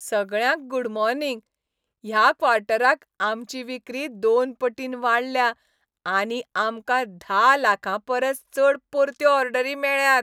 सगळ्यांक good morning. ह्या क्वॉर्टराक आमची विक्री दोन पटीन वाडल्या आनी आमकां धा लाखां परस चड परत्यो ऑर्डरी मेळ्ळ्यात.